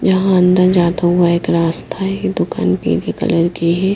यहां अंदर जाता हुआ एक रास्ता है दुकान पीले कलर की है।